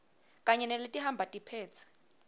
kanye naletihamba tiphetse